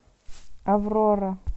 аврора